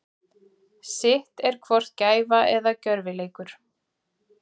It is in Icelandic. Sitt er hvort gæfa eða gjörvileikur.